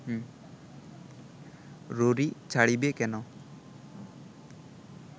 ররী ছাড়িবে কেন